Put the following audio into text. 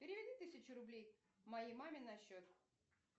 переведи тысячу рублей моей маме на счет